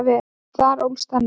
En þar ólst hann upp.